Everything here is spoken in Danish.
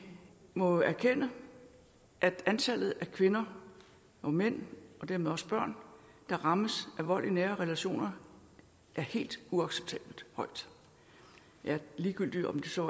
må jo erkende at antallet af kvinder og mænd og dermed også børn der rammes af vold i nære relationer er helt uacceptabelt højt ligegyldigt om det så